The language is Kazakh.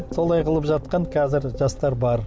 солай қылып жатқан қазір жастар бар